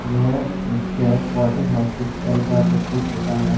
यह दृश्य Fortis hospital का प्रस्तुत होता है।